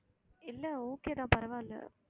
இல்லை okay தான் பரவாயில்லை